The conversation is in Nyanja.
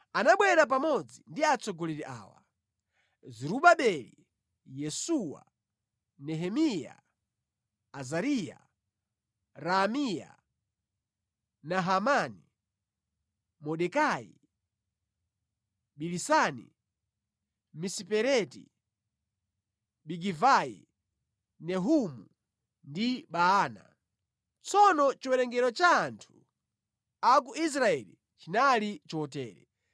Anabwera pamodzi ndi atsogoleri awa: Zerubabeli, Yesuwa, Nehemiya, Azariya, Raamiya, Nahamani, Mordekai, Bilisani, Misipereti, Bigivai, Nehumu ndi Baana. Tsono chiwerengero cha anthu a ku Israeli chinali chotere: